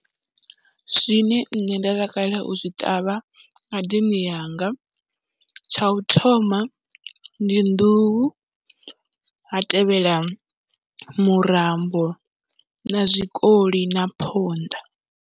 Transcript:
Zwine nṋe nda takalela u zwi ṱavha ngadeni yanga tsha u thoma ndi nḓuhu, ha tevhela murambo na zwikoli na phonḓa.